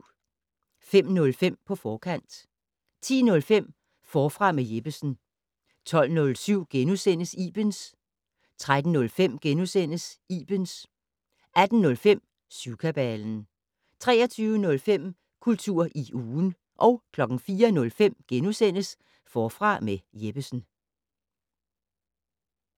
05:05: På forkant 10:05: Forfra med Jeppesen 12:07: Ibens * 13:05: Ibens * 18:05: Syvkabalen 23:05: Kultur i ugen 04:05: Forfra med Jeppesen *